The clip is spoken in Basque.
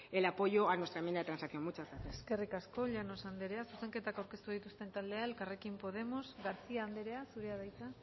el apoyo a nuestra enmienda de transacción muchas gracias eskerrik asko llanos andrea zuzenketak aurkeztu dituzten taldea elkarrekin podemos garcía andrea zurea da hitza